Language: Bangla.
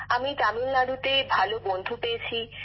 আমি তামিলনাড়ুতে ভাল বন্ধু পেয়েছি